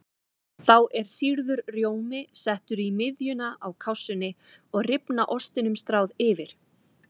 Þá er sýrður rjómi settur í miðjuna á kássunni og rifna ostinum stráð yfir.